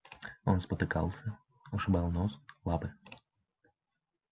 он спотыкался ушибал нос лапы